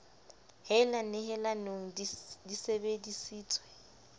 hella nehelanong di sebe disitswe